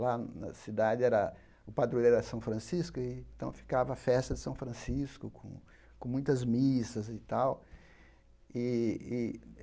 Lá na cidade, era o padroeiro era São Francisco, então ficava a festa São Francisco, com muitas missas e tal. E e